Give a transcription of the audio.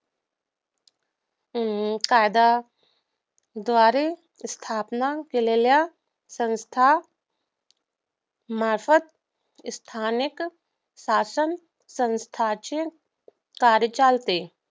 अं कायद्याद्वारे स्थापना केलेल्या संस्थांमार्फत स्थानिक शासनसंस्थाचे कार्य चालते